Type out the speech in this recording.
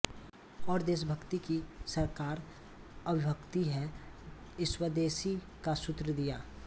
और देशभक्ति की साकार अभिव्यक्ति है स्वदेशी का सूत्र दिया